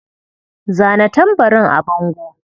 Zana tambarin a bango.